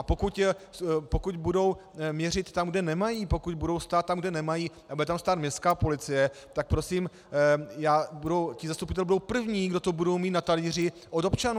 A pokud budou měřit tam, kde nemají, pokud budou stát tam, kde nemají, a bude tam stát městská policie, tak prosím, ti zastupitelé budou první, kdo to budou mít na talíři od občanů.